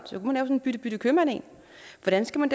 sådan en bytte bytte købmand en hvordan skal man